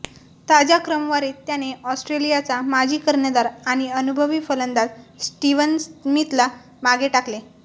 ताज्या क्रमवारीत त्याने ऑस्ट्रेलियाचा माजी कर्णधार आणि अनुभवी फलंदाज स्टीव्हन स्मिथला मागे टाकले